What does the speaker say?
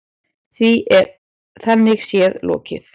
Því er þannig séð lokið.